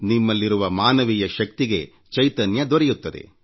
ನಿಮ್ಮಲ್ಲಿರುವ ಮಾನವೀಯ ಶಕ್ತಿಗೆ ಚೈತನ್ಯ ದೊರೆಯುತ್ತದೆ